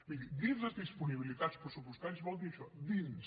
miri dins les disponibilitats pressupostàries vol dir això dins